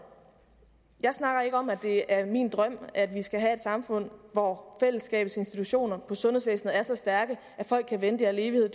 jeg snakker ikke om at det er min drøm at vi skal have et samfund hvor fællesskabets institutioner i sundhedsvæsenet er så stærke at folk kan vente i al evighed